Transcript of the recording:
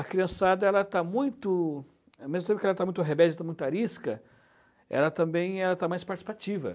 A criançada ela está muito, ao mesmo tempo que ela esteja muito rebelde, muito arisca, ela também está mais participativa.